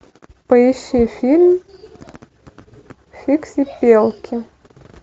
поищи фильм фиксипелки